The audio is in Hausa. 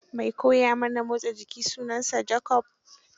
Mai koya mana motsa jiki sunansa Jacob.